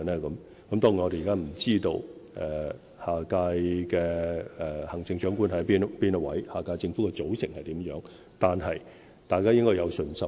當然，我們不知道下屆行政長官是誰，也不知道下屆政府的組成為何，但大家應該有信心。